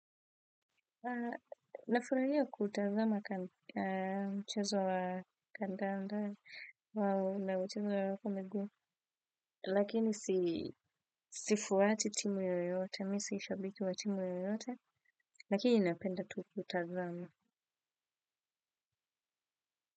Nafurahia kutazama mchezo wa kandanda na mchezo wa miguu lakini sifuati timu yoyote mimi si shabiki wa timu yoyote lakini napenda kutazama.